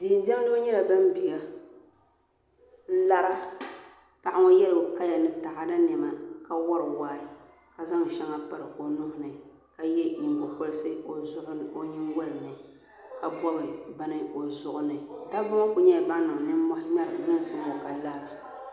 Diɛn diɛmdibi nyɛla bin biɛni n lara paɣaba yɛ bi kaya ni taada niɛma ka wori wahi ka zaŋ shɛŋa piri o nuhini ka yɛ nyingokoriti o nyingoli ka bob bini o zuɣuni dabba ŋo ku nyɛla ban niŋ nimmohi ŋmɛri lunsi ŋo ka lara